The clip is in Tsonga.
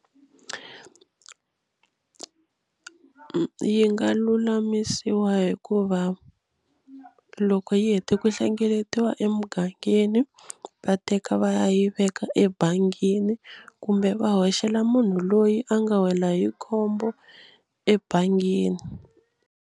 Yi nga lulamisiwa hi ku va loko yi hete ku hlengeletiwa emugangeni va teka va ya yi veka ebangini kumbe va hoxela munhu loyi a nga wela hi khombo ebangini.